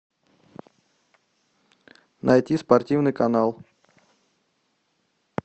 найти спортивный канал